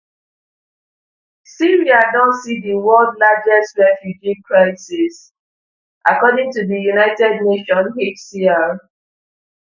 syria don see di world largest refugee crisis according to di unhcr